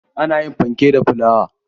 Ana yin fankek da fulawa.